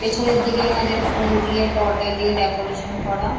পেছনের দিকে এনাদের ফুল দিয়ে পর্দা দিয়ে ডেকোরেশন করা।